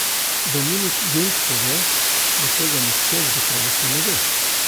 Dominik Jung pove, da tega nihče z gotovostjo ne ve.